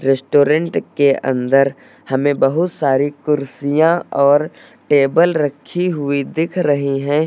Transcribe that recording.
Restaurant के अंदर हमें बहुत सारी कुर्सियां और टेबल रखी हुई दिख रही हैं।